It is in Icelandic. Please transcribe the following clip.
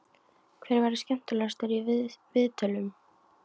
Hver verður skemmtilegastur í viðtölum?